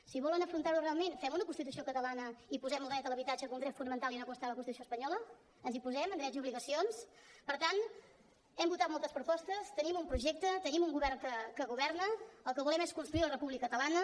si volen afrontar ho realment fem una constitució catalana i posem el dret a l’habitatge com a dret fonamental i no com està a la constitució espanyola ens hi posem en drets i obligacions per tant hem votat moltes propostes tenim un projecte tenim un govern que governa el que volem és construir la república catalana